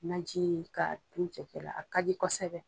Najini ka dun cɛkɛ la a ka di kosɛbɛ.